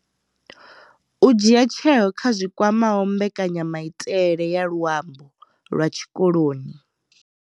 U dzhia tsheo kha zwi kwamaho mbekanyamaitele ya luambo lwa tshikoloni.